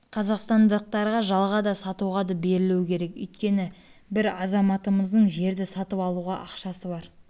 қазақстандықтарға жалға да сатуға да берілуі керек өйткені бір азаматымыздың жерді сатып алуға ақшасы бар